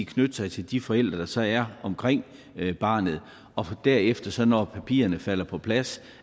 knytte sig til de forældre der så er omkring barnet og derefter når papirerne falder på plads